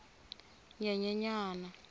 nyenyenyana